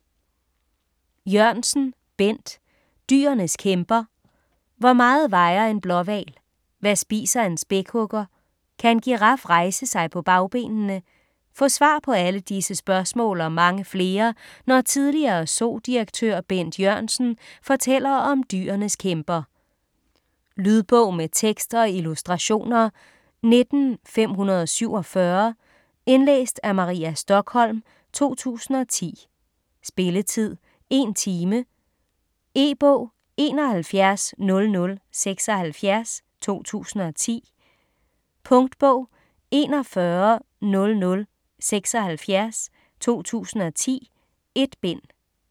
Jørgensen, Bent: Dyrenes kæmper Hvor meget vejer en blåhval? Hvad spiser en spækhugger? Kan en giraf rejse sig på bagbenene? Få svar på alle disse spørgsmål og mange flere, når tidligere Zoo-direktør Bent Jørgensen fortæller om dyrenes kæmper. Lydbog med tekst og illustrationer 19547 Indlæst af Maria Stokholm, 2010. Spilletid: 1 time. E-bog 710076 2010. Punktbog 410076 2010. 1 bind.